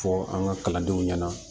Fɔ an ka kalandenw ɲɛna